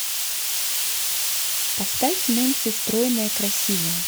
поставь нэнси стройная красивая